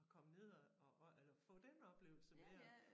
At komme ned og og og eller få den oplevelse med og